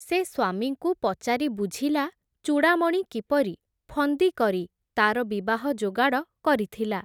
ସେ ସ୍ଵାମୀଙ୍କୁ ପଚାରି ବୁଝିଲା, ଚୂଡ଼ାମଣି କିପରି ଫନ୍ଦିକରି ତା’ର ବିବାହ ଯୋଗାଡ଼ କରିଥିଲା ।